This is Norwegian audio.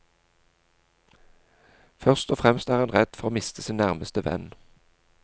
Først og fremst er han redd for å miste sin nærmeste venn.